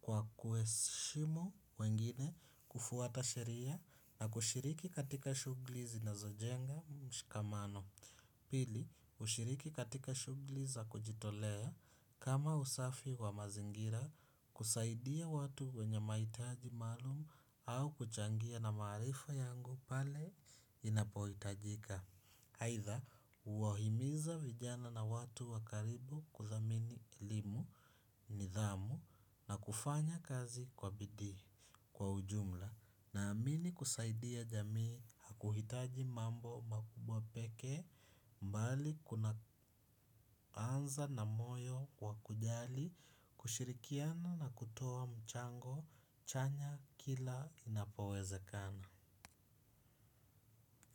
kwa kuheshimu wengine kufuata sheria na kushiriki katika shughuli zinazojenga mshikamano. Pili, hushiriki katika shughuli za kujitolea kama usafi wa mazingira kusaidia watu wenye mahitaji maalumu au kuchangia na maarifa yangu pale inapohitajika. Aidha huwa himiza vijana na watu wa karibu kudhamini elimu nidhamu na kufanya kazi kwa bidii kwa ujumla na amini kusaidia jamii hakuhitaji mambo makubwa pekee mbali kuna anza na moyo wa kujali ushirikiano na kutoa mchango chanya kila inapowezekana.